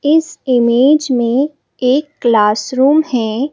इस इमेज में एक क्लासरूम है।